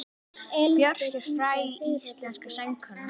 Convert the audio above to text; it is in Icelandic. Björk er fræg íslensk söngkona.